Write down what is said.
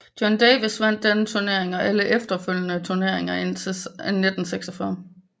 Joe Davis vandt denne turnering og alle efterfølgende turneringer indtil 1946